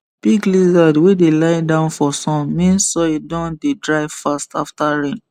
big lizard wey dey lie down for sun mean soil don dey dry fast after rain